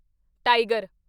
tiger